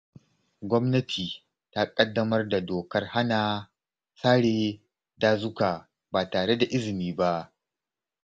Gwamnati ta ƙaddamar da dokar hana sare dazuka ba tare da izini ba.